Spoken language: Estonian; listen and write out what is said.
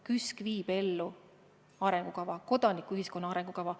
KÜSK viib ellu arengukava, kodanikuühiskonna arengukava.